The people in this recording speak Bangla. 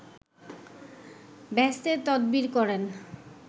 বেহেসতের তদবির করেন